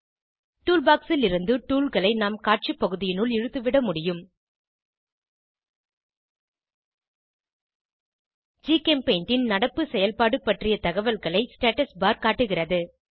toolbox லிருந்து tool களை நாம் காட்சி பகுதியினுள் இழுத்து விட முடியும் ஜிகெம்பெய்ண்ட் ன் நடப்பு செயல்பாடு பற்றிய தகவல்களைக் ஸ்டாட்டஸ்பார் காட்டுகிறது